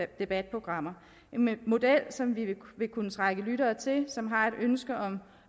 debatprogrammer en model som vil kunne trække lyttere til som har et ønske om